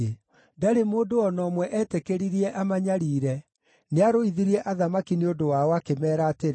Ndarĩ mũndũ o na ũmwe etĩkĩririe amanyariire; nĩarũithirie athamaki nĩ ũndũ wao, akĩmeera atĩrĩ: